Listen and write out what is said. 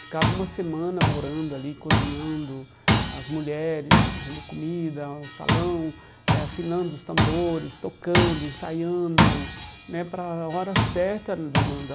Ficava uma semana morando ali, cozinhando as mulheres, fazendo comida, um salão, eh afinando os tambores, tocando, ensaiando né, para a hora certa